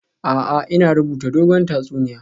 A'a, ina rubuta dogon tatsuniya